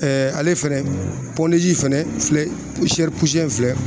ale fɛnɛ fɛnɛ filɛ in filɛ